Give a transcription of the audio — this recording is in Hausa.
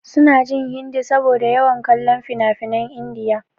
Sun jin Hindi saboda su na yawan kallon finafinan India.